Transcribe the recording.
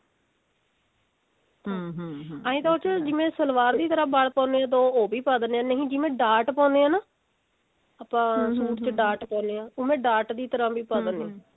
ਐਂ ਤਾਂ ਉਹਦੇ ਚ ਜਿਵੇਂ ਸਲਵਾਰ ਦੀ ਤਰ੍ਹਾਂ ਬਲ ਪਾਂਦੇ ਹਾਂ ਤਾਂ ਉਹ ਵੀ ਪਾ ਦਿੰਦੇ ਹਾਂ ਨਹੀਂ ਜਿਵੇਂ ਡਾਟ ਪਾਉਂਦੇ ਹਾਂ ਤਾਂ ਆਪਾਂ suit ਚ ਡਾਟ ਪਾਉਂਦੇ ਹਾਂ ਡਾਟ ਦੀ ਤਰ੍ਹਾਂ ਵੀ ਪਾ ਦਿੰਦੇ ਹਾਂ